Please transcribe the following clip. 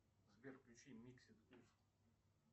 сбер включи миксет ус